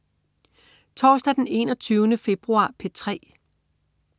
Torsdag den 21. februar - P3: